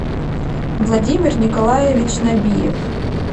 владимир николаевич набиев